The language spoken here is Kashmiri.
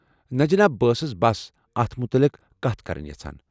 نہٕ جناب، بہٕ ٲسس بس أتھ مُتعلق کتھ کرٕنۍ یژھان ۔